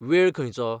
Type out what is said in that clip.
वेळ खंयचो ?